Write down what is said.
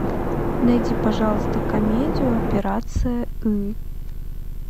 найди пожалуйста комедию операция ы